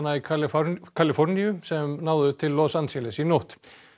í Kaliforníu Kaliforníu sem náðu til Los Angeles í nótt